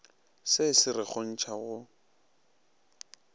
se se re kgontša go